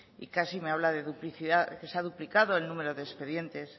y casi me habla que se ha duplicado el número de expedientes